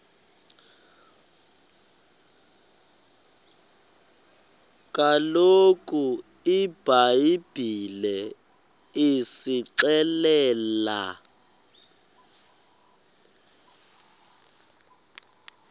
kaloku ibhayibhile isixelela